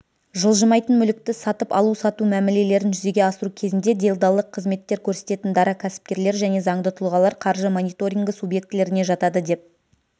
жылжымайтын мүлікті сатып алу-сату мәмілелерін жүзеге асыру кезінде делдалдық қызметтер көрсететін дара кәсіпкерлер және заңды тұлғалар қаржы мониторингі субъектілеріне жатады деп